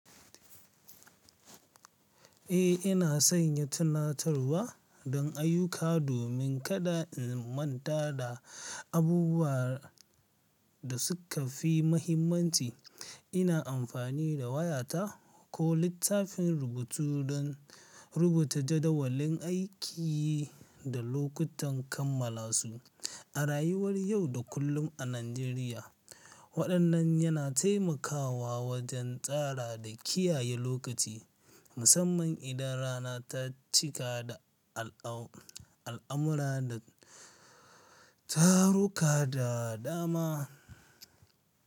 Eh, ina sanya tunatarwa don ayuka domin kada in manta da abubuwan da suka fi mahimmanci. Ina amfani da wayata ko littafin rubutu don rubuta jadawalin aiki da lokutan kammala su. A rayuwar yau da kullum a Najeriya, waɗannan yana taimakawa wajen tsara da kiyaye lokaci, musamman idan rana ta cika da al'amura da taruka da dama.